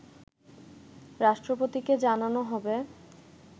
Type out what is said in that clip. রাষ্ট্রপতিকে জানানো হবে